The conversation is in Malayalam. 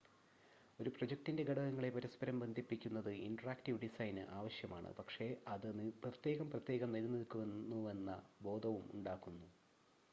ഒരു പ്രോജക്റ്റിൻ്റെ ഘടകങ്ങളെ പരസ്പരം ബന്ധിപ്പിക്കുന്നത് ഇൻ്റെറാക്ടീവ് ഡിസൈന് ആവശ്യമാണ് പക്ഷേ അത് പ്രത്യേകം പ്രത്യേകം നിലനിക്കുന്നുവെന്ന ബോധവും ഉണ്ടാക്കുന്നു